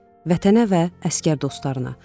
Vətənə və əsgər dostlarına.